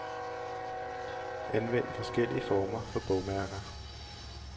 Anvend forskellige former for bogmærker.